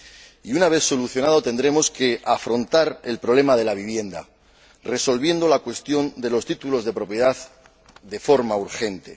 Y una vez solucionado, tendremos que afrontar el problema de la vivienda, resolviendo la cuestión de los títulos de propiedad de forma urgente.